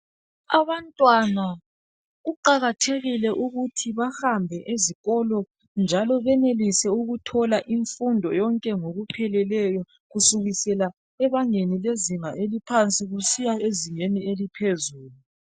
Abantwana kuqakathekile ukuthi bahambe ezikolo njalo benelise ukuthola imfundo yonke ngokupheleleyo kusukisela ebangeni lezinga eliphansi kusiya ezingeni eliphezulu.